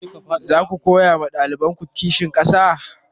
Zaku koya ma ɗalibanku kishin ƙasa?